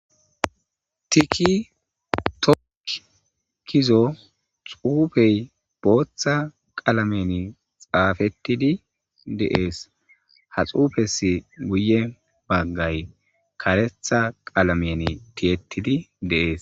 tiki tokk gizo xuufey booththa qalameni xaafettidi deees ha xuufesi guye baggay karetha qalameni tiyettidi deees